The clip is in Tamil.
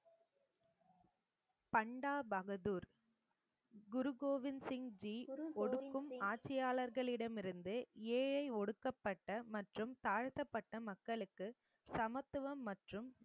பண்டா பகதூர் குரு கோவிந்த் சிங் ஜி ஒடுக்கும் ஆட்சியாளர்களிடம் இருந்து ஏழை ஒடுக்கப்பட்ட மற்றும் தாழ்த்தப்பட்ட மக்களுக்கு சமத்துவம் மற்றும்